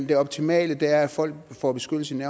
det optimale er at folk får beskyttelse i